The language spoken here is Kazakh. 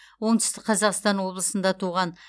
оңтүстік қазақстан облысында туған